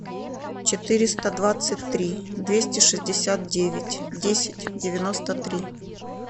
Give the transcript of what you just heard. четыреста двадцать три двести шестьдесят девять десять девяносто три